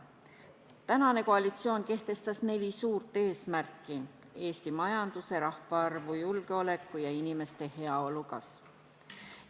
Tänane koalitsioon kehtestas neli suurt eesmärki: Eesti majanduse, rahvaarvu, julgeoleku ja inimeste heaolu kasv.